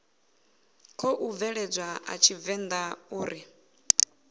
khou bveledzwa a tshivenḓa uri